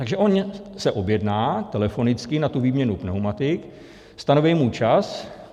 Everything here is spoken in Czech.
Takže on se objedná telefonicky na tu výměnu pneumatik, stanoví mu čas.